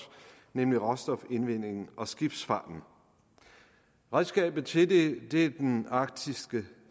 nemlig råstofindvindingen og skibsfarten redskabet til det er den arktiske